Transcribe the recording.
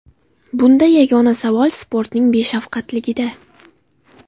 Bunda yagona savol sportning beshafqatligida.